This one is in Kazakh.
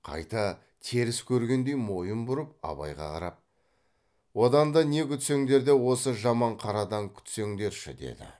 қайта теріс көргендей мойын бұрып абайға қарап одан да не күтсеңдер де осы жаман қарадан күтсеңдерші деді